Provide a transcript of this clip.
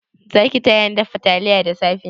Zaki tayani dafa taliya da safe?